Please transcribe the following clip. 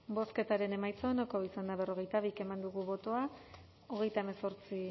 bozketaren emaitza onako izan da berrogeita bi eman dugu bozka hogeita hemezortzi